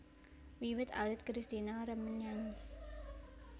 Wiwit alit Kristina remen nyanyi